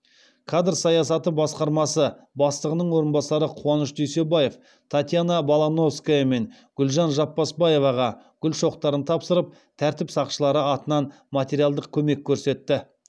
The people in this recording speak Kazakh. кадр саясаты басқармасы бастығының орынбасары қуаныш дүйсебаев татьяна балановская мен гүлжан жаппасбаеваға гүл шоқтарын тапсырып тәртіп сақшылары атынан материалдық көмек көрсетті